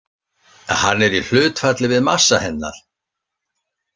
Hann er í hlutfalli við massa hennar.